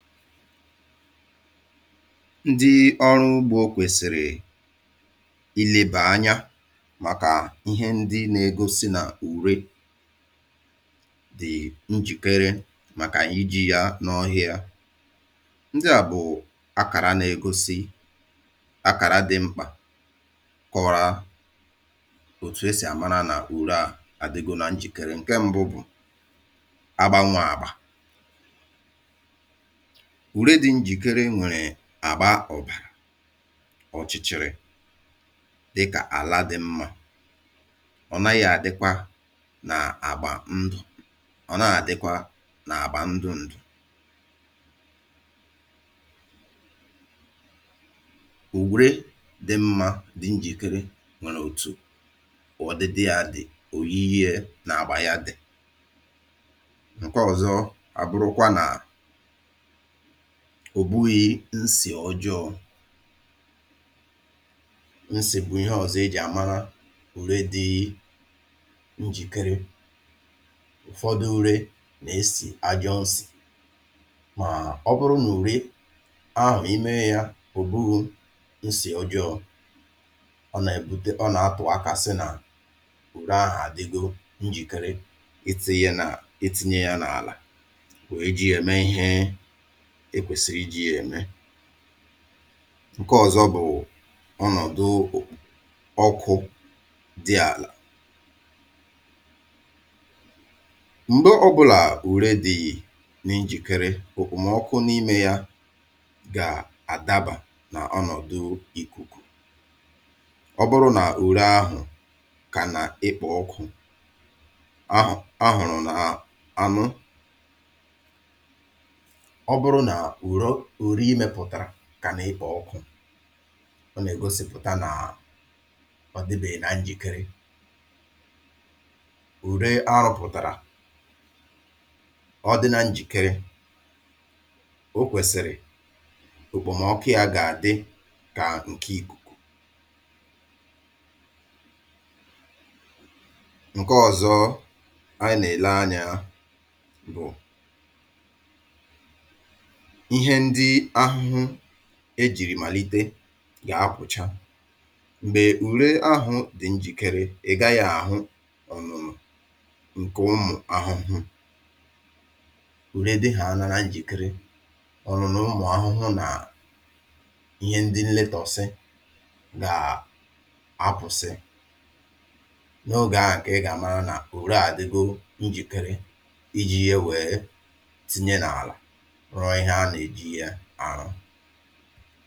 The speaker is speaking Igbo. Otu ndị ọrụ ugbo dị̀ n’Naịjirià gà-esi mata ezigbo úré ma tụọ ya nke ọma iji tinye n’ala kà mkpụrụ osisi gà-eto nke ọma bụ dịkà n’ụdị a. Ihe mbụ ihe mbụ kpamkpam bụ nwècha ala. Ndị ọrụ ugbo gà-amatà ya site n’ị nwècha ala. Ụfọdụ oge nke a si n’aka ndị ọrụ ugbo maọ̀bụ ndị na-eme nnyocha. Mgbe ha nwèchàrà ala ha na-ele ihe dị n’ime ya. Dịka nitrogen phosphorus na potassium. Ụdị ihe ndị a na-egosi gị ụdị úré kacha mma ị gà-eji. Ihe ọzọ bụ ala n’onwe ya agba ya na ụdị ya. Ala dị mma bụ nke na-adị̀ ojii dịka ala jupụtara n’ihe eke. Nke ahụ na-egosi na ọ na-enye nri ọma. Ọzọkwa bụ okpomọkụ ala. Ndị ọrụ ugbo nwere ike iji ngwa hụ ma ala ahụ dị oke ọkụ maọ̀bụ oyi maọ̀bụ dị n’etiti. Ala dị mma gà-abụ nke kwèsịrị ịdị n’etiti. Ọ bụghị oke ọkụ ọ bụghịkwa oke oyi. Ọ bụrụ na ị nwècha ya ma hụ na ọkụ gbara ọsọ nke ahụ na-egosi na ala ahụ adịghị mma. Mànà ọ bụrụ na ọ dị jụụ na-adị n’etiti nke ahụ gosiri na ala ahụ dị mma dị njikere maka ịkụ ugbo.